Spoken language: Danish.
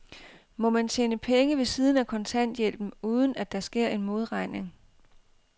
Må man tjene penge ved siden af kontanthjælpen, uden at der sker en modregning?